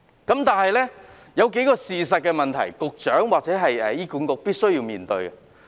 可是，當中有數項事實是局長或醫院管理局必須面對的。